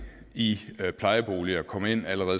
i plejeboliger kom ind